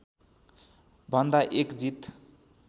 भन्दा एक जीत